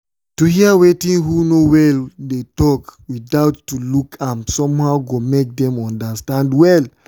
to hear wetin who no well dey talk without to look am somehow go make them understand well.